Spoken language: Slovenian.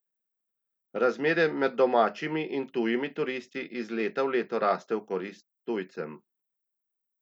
Razmerje med domačimi in tujimi turisti iz leta v leto raste v korist tujcem.